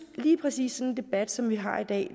at lige præcis sådan en debat som vi har i dag